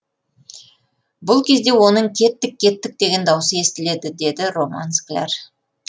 бұл кезде оның кеттік кеттік деген дауысы естіледі деді роман скляр